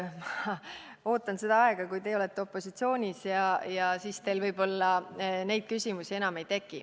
Ootan seda aega, kui te olete opositsioonis, siis teil võib-olla neid küsimusi enam ei teki.